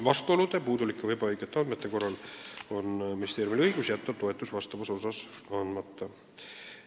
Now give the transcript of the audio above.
Vastuolude, puudulike või ebaõigete andmete korral on ministeeriumil õigus jätta toetus konkreetses osas andmata.